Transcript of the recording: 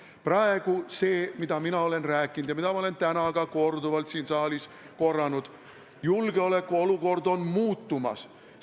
Praegu olen mina rääkinud sellest – ma olen seda täna ka siin saalis korranud –, et julgeolekuolukord on muutumas.